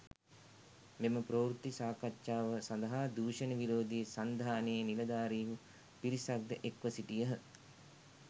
මෙම ප්‍රවෘත්ති සාකච්ඡාව සඳහා දූෂණ විරෝධී සන්ධානයේ නිලධාරීහු පිරිසක්‌ ද එක්‌ව සිටියහ.